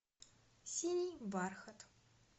синий бархат